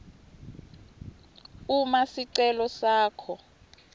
uma sicelo sakho